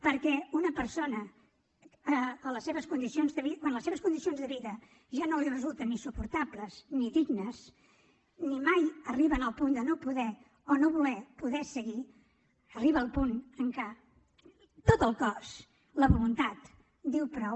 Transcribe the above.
perquè una persona quan les seves condicions de vida ja no li resulten ni suportables ni dignes si mai arriba al punt de no poder o no voler seguir arriba al punt en què tot el cos la voluntat diu prou